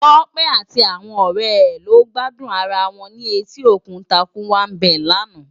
Tope àti áwòn òrè è lò gbàdún àrá wòn ni Ètí Ókún Tàkúwá Bé làná